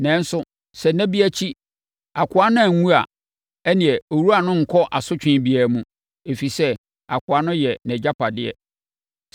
Nanso, sɛ nna bi akyi akoa no anwu a, ɛnneɛ, owura no renkɔ asotwe biara mu, ɛfiri sɛ, akoa no yɛ nʼagyapadeɛ.